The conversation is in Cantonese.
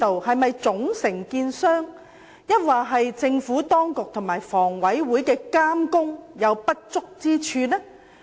是總承建商出現問題，還是政府當局和房委會監管不足？